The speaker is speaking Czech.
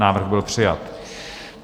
Návrh byl přijat.